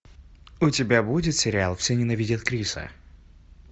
у тебя будет сериал все ненавидят криса